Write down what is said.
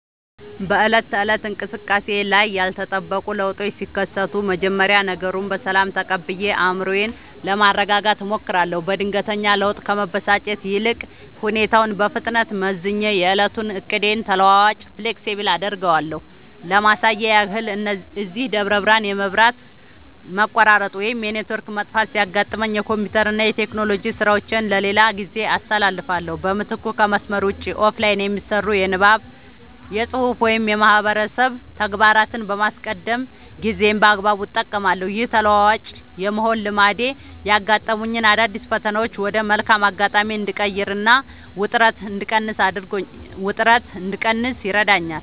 በዕለት ተዕለት እንቅስቃሴዬ ላይ ያልተጠበቁ ለውጦች ሲከሰቱ፣ መጀመሪያ ነገሩን በሰላም ተቀብዬ አእምሮዬን ለማረጋጋት እሞክራለሁ። በድንገተኛ ለውጥ ከመበሳጨት ይልቅ፣ ሁኔታውን በፍጥነት መዝኜ የዕለቱን ዕቅዴን ተለዋዋጭ (Flexible) አደርገዋለሁ። ለማሳያ ያህል፣ እዚህ ደብረ ብርሃን የመብራት መቆራረጥ ወይም የኔትወርክ መጥፋት ሲያጋጥመኝ፣ የኮምፒውተርና የቴክኖሎጂ ሥራዎቼን ለሌላ ጊዜ አስተላልፋለሁ። በምትኩ ከመስመር ውጭ (Offline) የሚሰሩ የንባብ፣ የፅሁፍ ወይም የማህበረሰብ ተግባራትን በማስቀደም ጊዜዬን በአግባቡ እጠቀማለሁ። ይህ ተለዋዋጭ የመሆን ልማዴ ያጋጠሙኝን አዳዲስ ፈተናዎች ወደ መልካም አጋጣሚ እንድቀይርና ውጥረት እንድቀንስ ይረዳኛል።